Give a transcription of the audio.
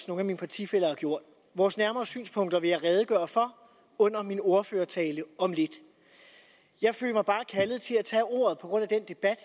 nogle af mine partifæller har gjort vores nærmere synspunkter vil jeg redegøre for under min ordførertale om lidt jeg følte mig bare kaldet til at tage ordet på grund af den debat